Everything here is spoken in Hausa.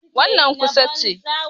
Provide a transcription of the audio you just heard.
Wannan ƙusa ce.